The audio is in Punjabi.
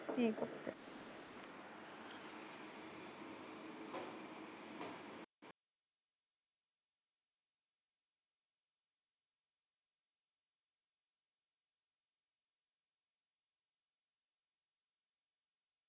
ਠੀਕ